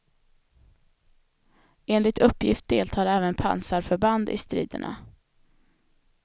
Enligt uppgift deltar även pansarförband i striderna.